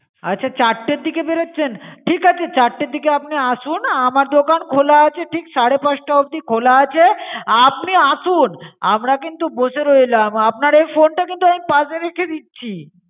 আচ্ছা চারটের দিকে বেরোচ্ছেন? ঠিক আছে চারটের দিকে আপনি আসুন আমার দোকান খোলা আছে ঠিক সাড়ে পাচটা অবধি খোলা আছে আপনি আসুন। আমরা কিন্তু বসে রইলাম আপনার এই phone টা কিন্তু পাশে রেখে দিচ্ছি।